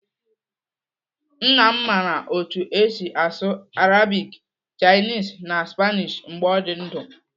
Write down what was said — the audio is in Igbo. Nna m mara otú esi asụ Arabic, Chinese na Spanish mgbe ọ dị ndụ.